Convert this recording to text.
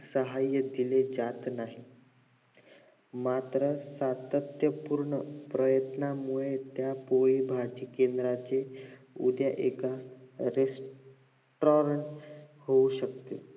साहाय्य केले जात नाही मात्र सातत्य पूर्ण प्रयत्नामुळे त्या पोळी भाजी केंद्राचे उद्या एक restaurant होऊ शकतो